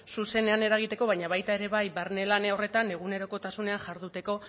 zuzenean eragiteko baina baita ere bai barne lan horretan egunerokotasunean jarduteko